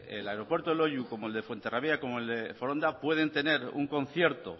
el aeropuerto de loiu como el fuenterrabía como el de foronda pueden tener un concierto